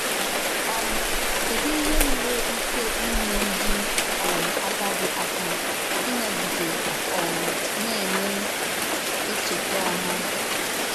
um Kèdù íhè nwerè íké ínyè ndí um àgádì àkà ínògídè um na-ènwè èchètà òmà?